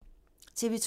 TV 2